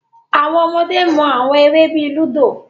Awọn ọmọde mu awọn ere bii ludo